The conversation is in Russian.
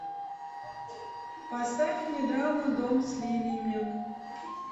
поставь мне драма дом с лилиями